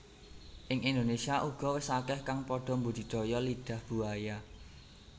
Ing Indonésia uga wis akeh kang padha mbudidaya Lidah Buaya